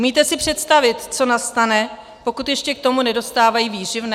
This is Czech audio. Umíte si představit, co nastane, pokud ještě k tomu nedostávají výživné?